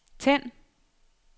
tænd